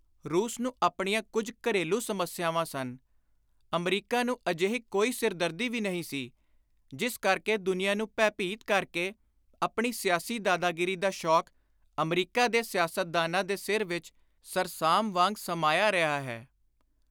ਰੂਸ ਨੂੰ ਆਪਣੀਆਂ ਕੁਝ ਘਰੇਲੂ ਸਮੱਸਿਆਵਾਂ ਸਨ; ਅਮਰੀਕਾ ਨੂੰ ਅਜਿਹੀ ਕੋਈ ਸਿਰਦਰਦੀ ਵੀ ਨਹੀਂ ਸੀ; ਜਿਸ ਕਰਕੇ ਦੁਨੀਆਂ ਨੂੰ ਭੈ-ਭੀਤ ਕਰ ਕੇ ਆਪਣੀ ਸਿਆਸੀ ਦਾਦਾਗਿਰੀ ਦਾ ਸ਼ੌਕ ਅਮਰੀਕਾ ਦੇ ਸਿਆਸਤਦਾਨਾਂ ਦੇ ਸਿਰ ਵਿਚ ਸਰਸਾਮ ਵਾਂਗ ਸਮਾਇਆ ਰਿਹਾ ਹੈ।